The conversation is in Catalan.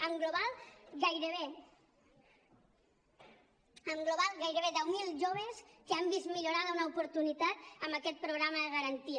en global gairebé deu mil joves que han vist millorada una oportunitat amb aquest programa de garantia